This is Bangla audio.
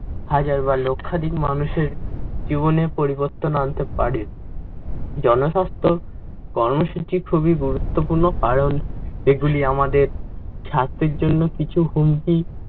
হাজার বা লক্ষাধিক মানুষের জীবনে পরিবর্তন আনতে পারে। জনস্বাস্থ্য কর্মসূচি খুবই গুরুত্বপূর্ণ কারণ এগুলি আমাদের স্বাস্থ্যের জন্য কিছু হুমকি